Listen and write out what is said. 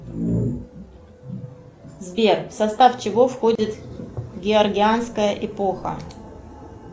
сбер в состав чего входит георгианская эпоха